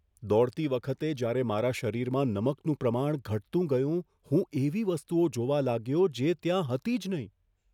દોડતી વખતે જયારે મારા શરીરમાં નમકનું પ્રમાણ ઘટતું ગયું, હું એવી વસ્તુઓ જોવા લાગ્યો જે ત્યાં હતી જ નહીં.